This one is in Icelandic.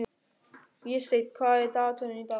Vésteinn, hvað er í dagatalinu í dag?